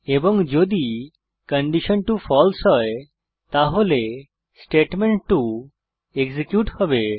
এবং যদি condition two false হয় তাহলে স্টেটমেন্ট2 এক্সিকিউট হবে